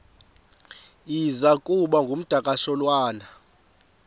iza kuba ngumdakasholwana